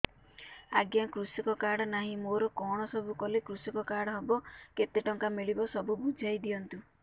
ଆଜ୍ଞା କୃଷକ କାର୍ଡ ନାହିଁ ମୋର କଣ ସବୁ କଲେ କୃଷକ କାର୍ଡ ହବ କେତେ ଟଙ୍କା ମିଳିବ ସବୁ ବୁଝାଇଦିଅନ୍ତୁ